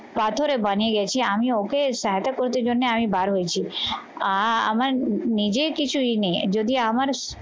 পাথরে বানিয়ে গেছি। আমি ওকে সহায়তা করতে জন্যে আমি বার হয়েছি আহ আমার নিজের কিছুই নেই, যদি আমার